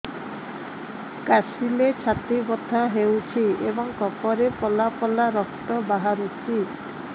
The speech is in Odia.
କାଶିଲେ ଛାତି ବଥା ହେଉଛି ଏବଂ କଫରେ ପଳା ପଳା ରକ୍ତ ବାହାରୁଚି